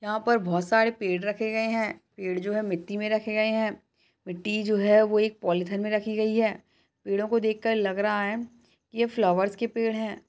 यहां पर बोहोत सारे पेड़ रखे गए हैं। पेड़ जो है मिट्टी में रखे गए हैं। मिट्टी जो है वो एक पॉलिथीन में रखी गई है। पेड़ों को देखकर लग रहा है यह फ्लावर्स के पेड़ हैं।